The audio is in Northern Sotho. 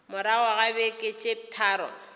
morago ga beke tše tharo